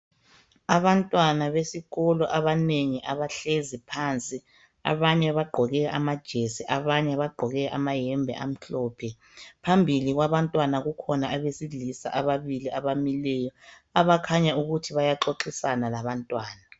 Abantwana besikolo abanengi bahlezi phansi abanye agqoke amayembe amhlophe, phambili kwabantwana kukhona abesilisa abamileyo okukhanya ukuthi bayaxoxisana labantwana.